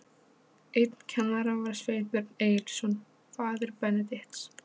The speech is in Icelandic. Einn kennara var Sveinbjörn Egilsson, faðir Benedikts.